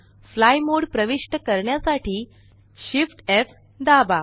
fly mode प्रविष्ट करण्यासाठी Shift F दाबा